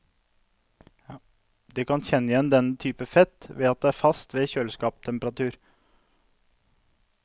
Du kan kjenne igjen denne typen fett ved at det er fast ved kjøleskapstemperatur.